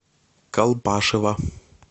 колпашево